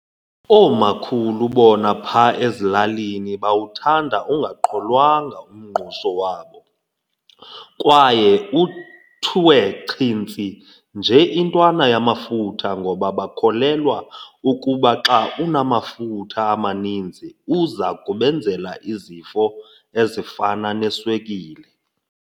Oomakhulu bona pha ezilalinii bawuthanda ungaqholwanga umngqusho wabo kwaye uthwe chintsi nje intwana yamafutha ngoba bakholelwa ukuba xa unamafutha amaninzi uza kubenzela izifo ezifana neswekile.